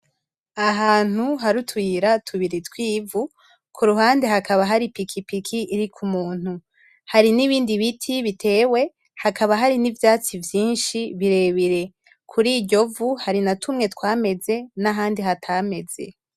Ahantu har'utuyira tubiri tw'ivu kuruhande hakaba hari ipikipiki iriko umuntu hari nibindi biti bitewe hakaba hari nivyatsi vyinshi birebire kuriryovu hari natumwe twameze nahandi hatameze.